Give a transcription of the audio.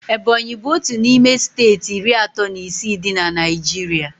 Ebọnyi bụ otu n'ime steeti iri atọ na isii dị na Naijiria